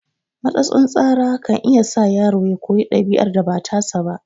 Matsatsin tsara kan iya sa yaro ya koyi ɗabi'ar da ba tasa ba